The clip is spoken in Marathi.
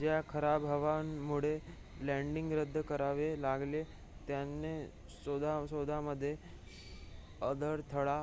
ज्या खराब हवामानामुळे लॅन्डिंग रद्द करावे लागले त्यानेच शोधामध्ये अडथळा